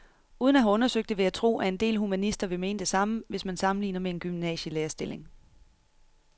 Uden at have undersøgt det vil jeg tro, at en del humanister vil mene det samme, hvis man sammenligner med en gymnasielærerstilling.